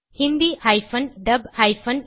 Hindi Dub file